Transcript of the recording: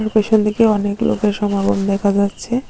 Location থেকে অনেক লোকের সমাগম দেখা যাচ্ছে।